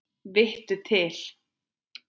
Vittu til!